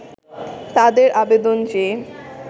তাদের আবেদন যে